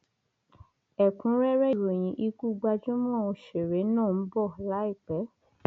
ẹkúnrẹrẹ ìròyìn ikú gbajúmọ òṣèré náà ń bọ láìpẹ